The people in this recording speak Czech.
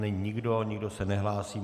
Není nikdo, nikdo se nehlásí.